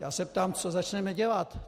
Já se ptám, co začneme dělat.